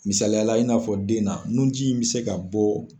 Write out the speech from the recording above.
Misaliyala i n'a fɔ den na, nu ji in bɛ se ka bɔ.